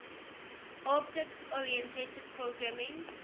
object oriented programming